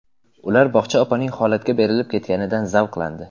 Ular bog‘cha opaning holatga berilib ketganidan zavqlandi.